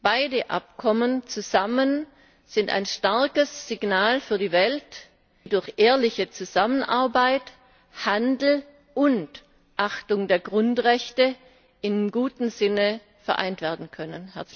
Beide Abkommen zusammen sind ein starkes Signal für die Welt, wie durch ehrliche Zusammenarbeit Handel und Achtung der Grundrechte in gutem Sinne vereint werden können.